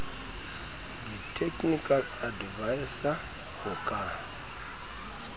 di technical adviser ho ka